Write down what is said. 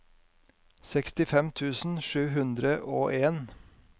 sekstifem tusen sju hundre og en